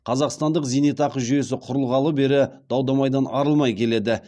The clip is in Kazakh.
қазақстандық зейнетақы жүйесі құрылғалы бері дау дамайдан арылмай келеді